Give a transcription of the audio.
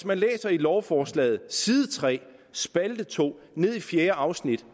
man læser i lovforslaget på side tre spalte to fjerde afsnit